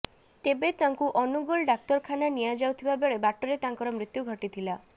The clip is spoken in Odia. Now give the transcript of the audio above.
ତେବେ ତାଙ୍କୁ ଅନୁଗୋଳ ଡାକ୍ତରଖାନା ନିଆ ଯାଉଥିବା ବେଳେ ବାଟରେ ତାଙ୍କର ମୃତ୍ୟୁ ଘଟିଥିଲା